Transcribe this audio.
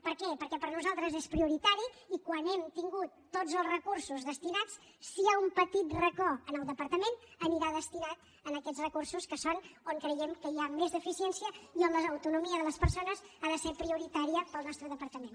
per què perquè per nosaltres és prioritari i quan hàgim tingut tots els recursos destinats si hi ha un petit racó en el departament anirà destinat a aquests recursos que és on creiem que hi ha més deficiència i on l’autonomia de les persones ha de ser prioritària pel nostre departament